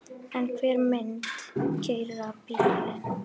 En hver myndi keyra bílinn?